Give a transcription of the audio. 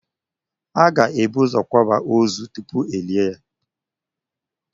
A ga-ebu ụzọ kwaaba ózù tupu elie ya